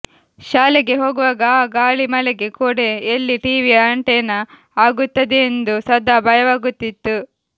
ಶಾಲೆಗೆ ಹೋಗುವಾಗ ಆ ಗಾಳಿಮಳೆಗೆ ಕೊಡೆ ಎಲ್ಲಿ ಟಿವಿಯ ಅಂಟೆನಾ ಆಗುತ್ತದೆಯೆಂದು ಸದಾ ಭಯವಾಗುತ್ತಿತ್ತು